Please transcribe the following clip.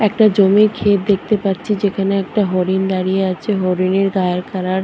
একটা জমির ক্ষেত দেখতে পারছি যেখানে একটা হরিণ দাঁড়িয়ে আছে হরিনের গায়ের কালার --